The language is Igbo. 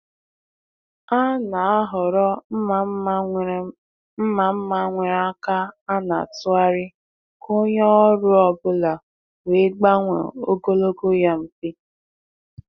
Ha na-ahọrọ mma mma nwere mma mma nwere aka a na-atụgharị ka onye ọrụ ọ bụla wee gbanwee ogologo ya mfe.